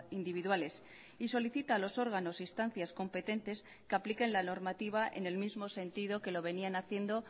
individuales y solicita a los órganos instancias competentes que apliquen la normativa en el mismo sentido que lo venían haciendo